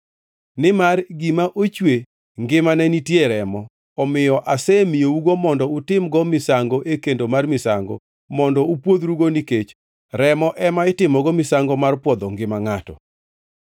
Nimar gima ochwe ngimane nitie e remo, omiyo asemiyougo mondo utim-go misango e kendo mar misango mondo upwodhrugo nikech remo ema itimogo misango mar pwodho ngima ngʼato.